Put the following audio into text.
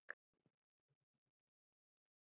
Gissur: Þú varst alveg viss?